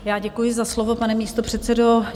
Já děkuji za slovo, pane místopředsedo.